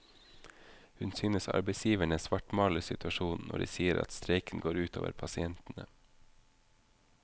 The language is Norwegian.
Hun synes arbeidsgiverne svartmaler situasjonen når de sier at streiken går ut over pasientene.